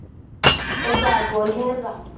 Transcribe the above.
ਓਹ ਬੈਟਬੋਲ ਖੇਲ ਦਾ।